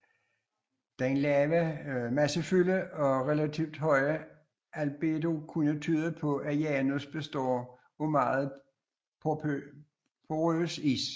Den lave massefylde og relativt høje albedo kunne tyde på at Janus består af meget porøs is